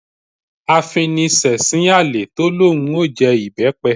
Afiniṣẹ̀sín àlè tó lóun ó jẹ ìbẹ́pẹ